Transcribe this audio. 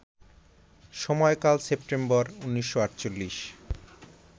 সময়কাল সেপ্টেম্বর ১৯৪৮